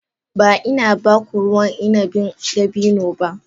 Ba ina ba ku ruwan inabin dabino ba.